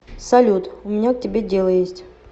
салют у меня к тебе дело есть